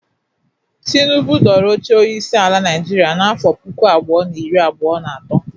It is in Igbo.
Tinubụ dọrọ oche onyeisi ala Naịjịrịa n'afọ puku abụọ na iri abụọ na atọ.